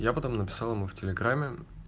я потом написал ему в телеграме